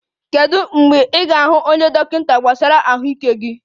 Kedu mgbe ị ga-ahụ dọkịta gbasara ahụike gị?